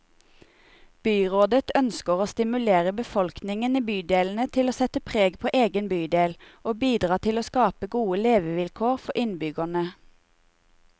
Byrådet ønsker å stimulere befolkningen i bydelene til å sette preg på egen bydel, og bidra til å skape gode levekår for innbyggerne.